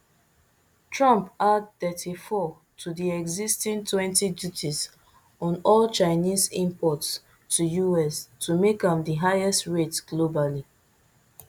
trump add thirty-four to di existing twenty duties on all chinese imports to us to make am di highest rate globally